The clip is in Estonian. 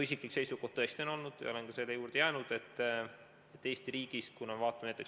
Vaatame näiteks sotsiaalmaksu jaotust Eesti riigis.